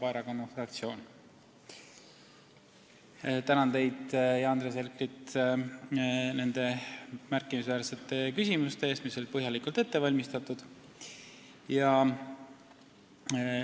Vabaerakonna fraktsioon, tänan teid, sh Andres Herkelit, nende märkimisväärsete küsimuste eest, mis olid põhjalikult ette valmistatud!